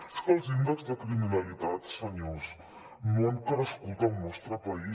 és que els índexs de criminalitat senyors no han crescut al nostre país